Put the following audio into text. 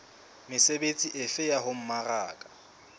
mesebetsi efe ya ho mmaraka